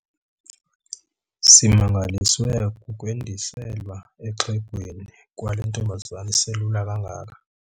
Simangaliswe kukwendiselwa exhegweni kwale ntombazana iselula kangaka.